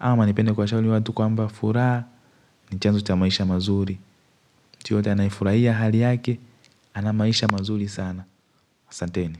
ama nipende kuwashauri watu kwamba furaha ni chanzo cha maisha mazuri mtu yoyote anayefurahia hali yake ana maisha mazuri sana asanteni.